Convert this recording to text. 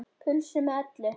Pulsu með öllu.